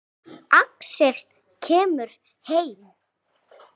Axel kemur heim.